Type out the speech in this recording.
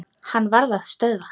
Hann varð að stöðva.